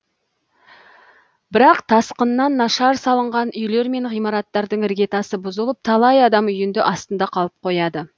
бірақ тасқыннан нашар салынған үйлер мен ғимараттардың іргетасы бұзылып талай адам үйінде астында қалып қояды